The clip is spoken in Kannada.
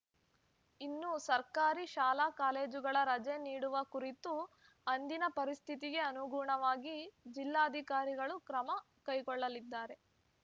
ಇನ್ನು ಸರ್ಕಾರಿ ಶಾಲಾಕಾಲೇಜುಗಳ ರಜೆ ನೀಡುವ ಕುರಿತು ಅಂದಿನ ಪರಿಸ್ಥಿತಿಗೆ ಅನುಗುಣವಾಗಿ ಜಿಲ್ಲಾಧಿಕಾರಿಗಳು ಕ್ರಮ ಕೈಗೊಳ್ಳಲಿದ್ದಾರೆ